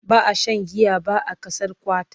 ba a Sha giya ba a Ƙasar Qatar